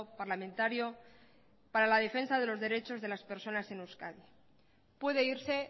parlamentario para la defensa de los derechos de las personas en euskadi puede irse